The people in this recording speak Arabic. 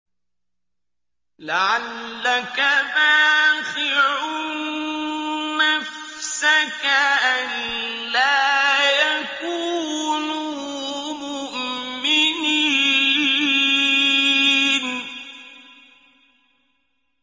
لَعَلَّكَ بَاخِعٌ نَّفْسَكَ أَلَّا يَكُونُوا مُؤْمِنِينَ